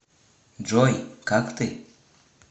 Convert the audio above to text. джой как ты